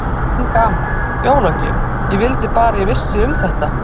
Enn gaman, jólagjöf, ég vildi bara að ég vissi um þetta.